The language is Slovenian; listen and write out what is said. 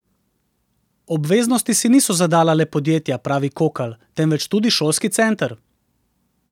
Obveznosti si niso zadala le podjetja, pravi Kokalj, temveč tudi šolski center.